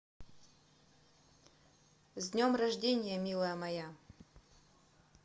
с днем рождения милая моя